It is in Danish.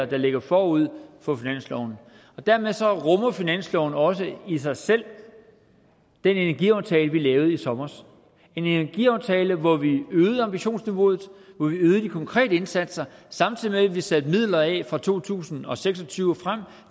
der ligger forud for finansloven dermed rummer finansloven også i sig selv den energiaftale vi lavede i sommer en energiaftale hvor vi øgede ambitionsniveauet hvor vi øgede de konkrete indsatser samtidig med at vi satte midler af fra to tusind og seks og tyve og frem